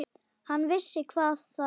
Hann vissi hvað það var.